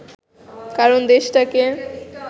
কারণ দেশটাকে